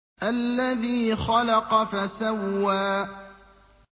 الَّذِي خَلَقَ فَسَوَّىٰ